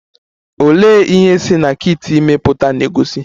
Olee ihe si na kit ime pụta na-egosi?